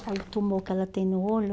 Olha o tumor que ela tem no olho.